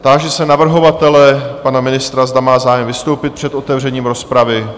Táži se navrhovatele, pana ministra, zda má zájem vystoupit před otevřením rozpravy?